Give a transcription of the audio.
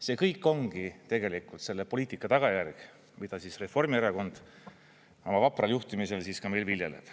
See kõik ongi tegelikult selle poliitika tagajärg, mida Reformierakond oma vapral juhtimisel meil viljeleb.